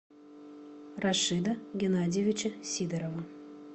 рашида геннадьевича сидорова